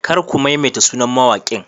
Kar ka maimaita sunan mawaƙin.